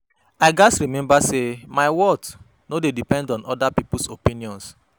I gats remember say my worth no dey depend on others’ opinions.